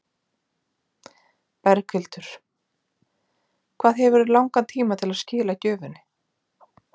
Berghildur: Hvað hefurðu langan tíma til að skila gjöfinni?